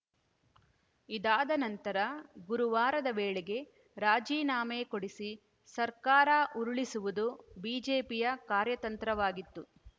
ಇದಾದ ನಂತರ ಗುರುವಾರದ ವೇಳೆಗೆ ರಾಜೀನಾಮೆ ಕೊಡಿಸಿ ಸರ್ಕಾರ ಉರುಳಿಸುವುದು ಬಿಜೆಪಿಯ ಕಾರ್ಯತಂತ್ರವಾಗಿತ್ತು